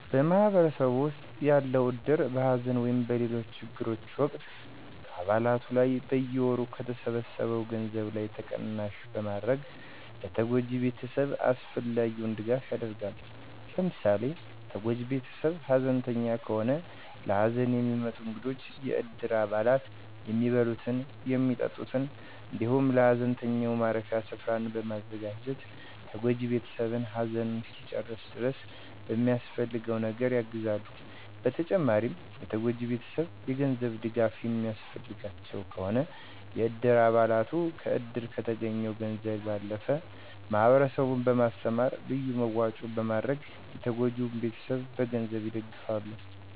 በማህበረሰብ ዉስጥ ያለዉ እድር በሐዘን ወይም በሌሎች ችግሮች ወቅት ከአባለቱ ላይ በየወሩ ከተሰበሰው ገንዘብ ላይ ተቀናሽ በማድረግ ለተጎጂ ቤተሰብ አስፈላጊውን ድጋፍ ያደርጋል። ለምሳሌ፦ ተጎጂ ቤተሰብ ሐዘንተኛ ከሆነ ለሀዘን የሚመጡ እንግዶችን የእድር አባላቱ የሚበሉትን፣ የሚጠጡትን እንዲሁም ለሀዘንተኛው ማረፊያ ስፈራን በማዘጋጀት ተጎጂ ቤተሰብ ሃዘኑን እስኪጨርስ ድረስ በሚያስፈልገው ነገር የግዘሉ። በተጨማሪም የተጎጂ ቤተሰብ የ ገንዘብ ድጋፍ የሚያስፈልጋቸው ከሆነ የእድር አባለቱ ከዕድር ከተገኘው ገንዘብ ባለፈ ማህበረሰቡን በማስተባበር ልዩ መዋጮ በማድረግ የተጎጂን ቤተሰብ በገንዘብ ይደግፋሉ።